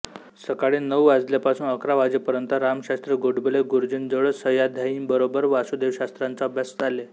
सकाळी नऊ वाजल्यापासून अकरा वाजेपर्यंत रामशास्त्री गोडबोले गुरुजींजवळ सहाध्यायींबरोबर वासुदेवशास्त्र्यांचा अभ्यास चाले